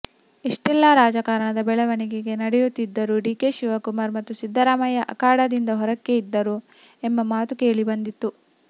ಇಷ್ಟೆಲ್ಲಾ ರಾಜಕಾರಣದ ಬೆಳವಣಿಗೆ ನಡೆಯುತ್ತಿದ್ದರೂ ಡಿಕೆ ಶಿವಕುಮಾರ್ ಮತ್ತು ಸಿದ್ದರಾಮಯ್ಯ ಅಖಾಡದಿಂದ ಹೊರಕ್ಕೆ ಇದ್ದರು ಎಂಬ ಮಾತು ಕೇಳಿ ಬಂದಿತ್ತು